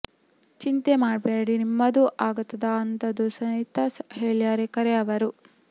ಚಿಂತಿ ಮಾಡಬ್ಯಾಡ್ರಿ ನಿಮ್ಮದೂ ಆಗತದ ಅಂತಂದು ಸೈತ ಹೇಳ್ಯಾರ ಖರೆ ಅವರು